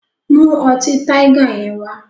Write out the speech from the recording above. Mú ọtí Tiger yẹn wá!